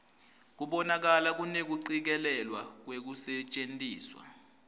kubonakala kunekucikelelwa kwekusetjentiswa